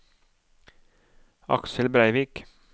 Aksel Breivik